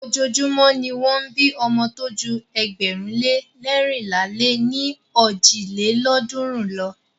Ojoojúmọ́ ni won ń bí ọmọ tó ju ėgbẹ̀rún lé leérinlá lé ní ojì lélọ́ọ̀dúnrún lo.